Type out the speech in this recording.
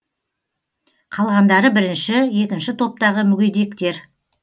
қалғандары бірінші екінші топтағы мүгедектер